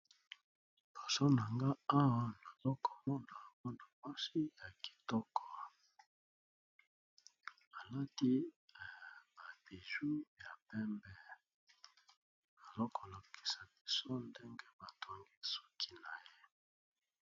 Liboso na ngai awa ,nazali komona muana muasi moko ya kitoko, alati ba bijoux ya pembe